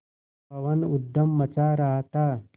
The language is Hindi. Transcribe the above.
पवन ऊधम मचा रहा था